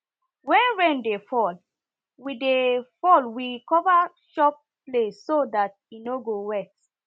when rain dey fall we dey fall we cover chop place so dat it no go wet